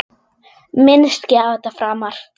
Minnist ekki á þetta framar.